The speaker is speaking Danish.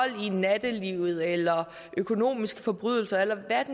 i nattelivet eller økonomiske forbrydelser eller hvad